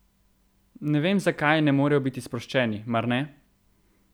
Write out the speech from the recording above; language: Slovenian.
Ne vem, zakaj ne morejo biti sproščeni, mar ne?